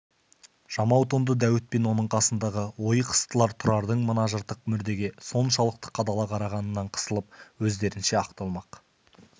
жамау тонды дәуіт пен оның қасындағы ойық-ыстылар тұрардың мына жыртық мүрдеге соншалықты қадала қарағанынан қысылып өздерінше ақталмақ